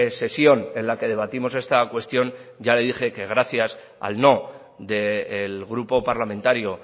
sesión en la que debatimos esta cuestión ya le dije que gracias al no del grupo parlamentario